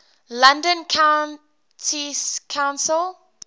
london county council